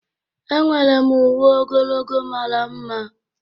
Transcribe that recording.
Enwere m uwe ogologo mara mma.